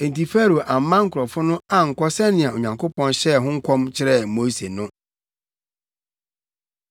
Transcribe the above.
Enti Farao amma nkurɔfo no ankɔ sɛnea Onyankopɔn hyɛɛ ho nkɔm kyerɛɛ Mose no.